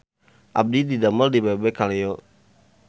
Abdi didamel di Bebek Kaleyo